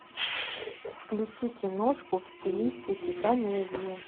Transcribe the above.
включи киношку в стилистике комедии